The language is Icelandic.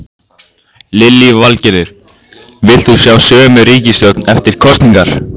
Lillý Valgerður: Vilt þú sjá sömu ríkisstjórn eftir kosningar?